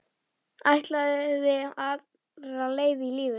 Ætlaði aðra leið í lífinu.